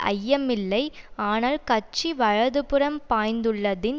ஐயமில்லை ஆனால் கட்சி வலதுபுறம் பாய்ந்துள்ளதின்